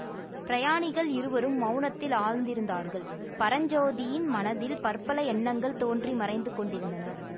பிரயாணிகள் இருவரும் மௌனத்தில் ஆழ்ந்திருந்தார்கள் பரஞ்சோதியின் மனத்தில் பற்பல எண்ணங்கள் தோன்றி மறைந்து கொண்டிருந்தன